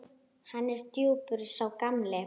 Hann er djúpur sá gamli.